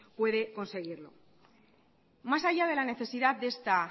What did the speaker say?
puede conseguirlo más allá de la necesidad de esta